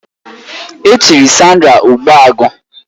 Echiri Sandra Ogbuagu